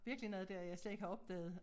Virkelig noget der jeg slet ikke har opdaget